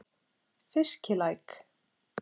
Fiskilæk